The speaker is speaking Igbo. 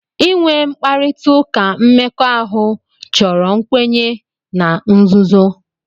Inwe mkparịta ụka mmekọahụ chọrọ nkwenye na nzuzo.